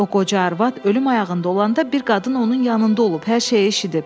O qoca arvad ölüm ayağında olanda bir qadın onun yanında olub, hər şeyi eşidib.